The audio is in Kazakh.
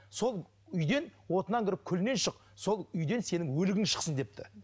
сол үйден отынан кіріп күлінен шық сол үйден сенің өлігің шықсын депті